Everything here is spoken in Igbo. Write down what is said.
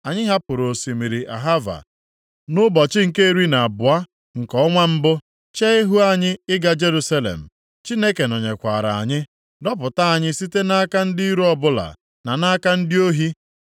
Anyị hapụrụ osimiri Ahava nʼụbọchị nke iri na abụọ nke ọnwa mbụ, chee ihu anyị ịga Jerusalem. Chineke nọnyekwaara anyị, dọpụta anyị site nʼaka ndị iro ọbụla, na nʼaka ndị ohi.